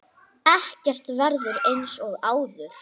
Ekkert verður eins og áður.